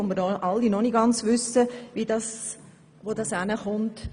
Wir wissen alle noch nicht, wie es in dieser Sache weitergehen wird.